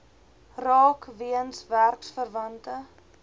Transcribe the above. raak weens werksverwante